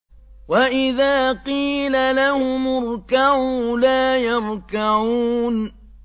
وَإِذَا قِيلَ لَهُمُ ارْكَعُوا لَا يَرْكَعُونَ